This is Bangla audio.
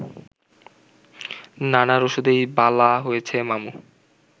নানার ওষুধেই বালা হইছে মামু